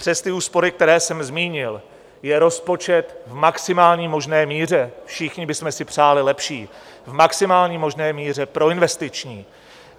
Přes ty úspory, které jsem zmínil, je rozpočet v maximální možné míře, všichni bychom si přáli lepší, v maximální možné míře proinvestiční.